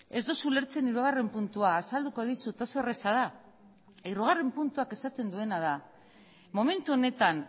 ez duzu ulertzen hirugarren puntua azalduko dizut oso erraza da hirugarren puntuak esaten duena da momentu honetan